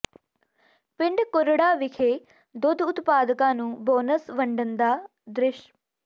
ਪਿੰਡ ਕੁਰੜਾ ਵਿਖੇ ਦੁੱਧ ਉਤਪਾਦਕਾਂ ਨੂੰ ਬੋਨਸ ਵੰਡਣ ਦਾ ਦ੍ਰਿਸ਼